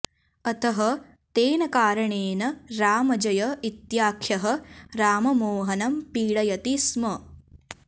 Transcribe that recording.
अतः तेन कारणेन रामजय इत्याख्यः राममोहनं पीडयति स्म